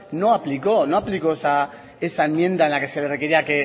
no aplicó no aplicó esa enmienda en la que se requería